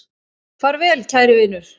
Far vel, kæri vinur.